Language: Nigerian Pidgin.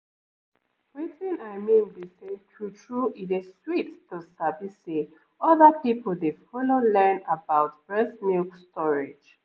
wetin i mean be say true-true e dey sweet to sabi say other people dey follow learn about breast milk storage